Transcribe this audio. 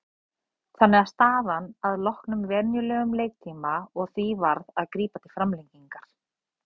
Þannig var staðan að loknum venjulegum leiktíma og því varð að grípa til framlengingar.